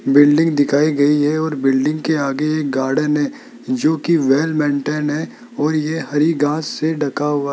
building दिखाई गई है और बिल्डिंग के आगे एक गार्डन है जो की वेल मेंटेन है है और ये हरी घास से ढाका हुआ --